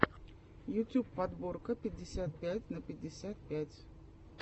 ютюб подборка пятьдесят пять на пятьдесят пять